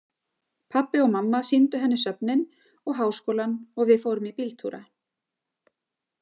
Pabbi og mamma sýndu henni söfnin og háskólann og við fórum í bíltúra.